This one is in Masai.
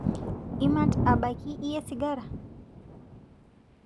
Imat abaki iyie sigara